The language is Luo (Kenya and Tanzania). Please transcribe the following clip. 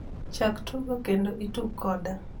chak tugo kendo itug koda